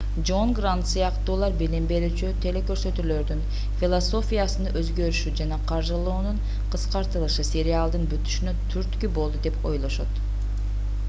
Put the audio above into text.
жон грант сыяктуулар билим берүүчү телекөрсөтүүлөрдүн философиясынын өзгөрүшү жана каржылоонун кыскартылышы сериалдын бүтүшүнө түрткү болду деп ойлошот